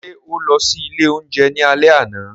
Ṣe o lọ si ile ounjẹ ni alẹ ana?